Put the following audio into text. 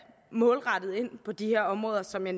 målrettet ind på de områder som jeg